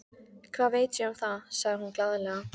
Hvað veit ég um það? sagði hún glaðlega.